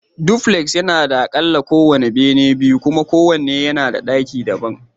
Dupuleks yana da aƙalla benaye biyu kuma kowane bene yana da ɗaki daban